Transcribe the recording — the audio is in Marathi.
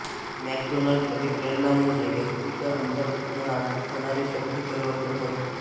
मॅकडोनाल्ड अभिप्रेरणा म्हणजे व्यक्तीच्या अंतर्मनात होणारे शक्ती परिवर्तन होय